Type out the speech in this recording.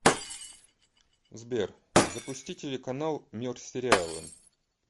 сбер запусти телеканал мир сериала